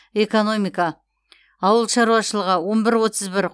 экономика ауыл шаруашылығы он бір отыз бір